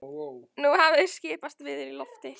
Nú hafði skipast veður í lofti.